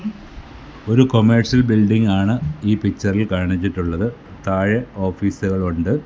ഒരു commercial building ആണ് ഈ പിക്ചറിൽ കാണിച്ചിട്ടുള്ളത് താഴെ ഓഫീസുകൾ ഉണ്ട്.